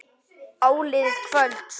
Áliðið kvölds.